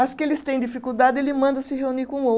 As que eles têm dificuldade ele manda se reunir com ou